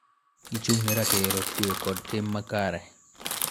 Gichung� ne ratiro, kue, kod tim makare,